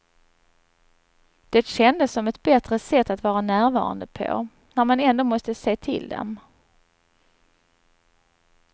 Det kändes som ett bättre sätt att vara närvarande på, när man ändå måste se till dem.